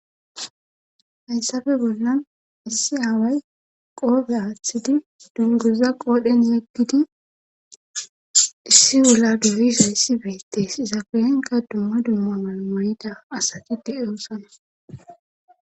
hayssafe bollan issi aaway qoofe aaththidi dungoza qoodhen yeggidi issi ula dubisayssi beettes izaqelenka dumma dumma mal mureda asati de oossana